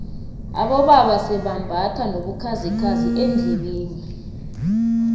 abobaba sebambatha nobukhazikhazi eendlebeni